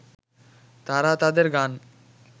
তারা তাদের গান